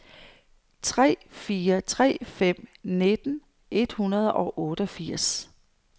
tre fire tre fem nitten et hundrede og otteogfirs